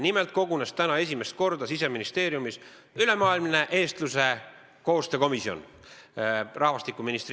Nimelt kogunes täna rahvastikuministri juhtimisel esimest korda Siseministeeriumis ülemaailmne eestluse koostöökomisjon.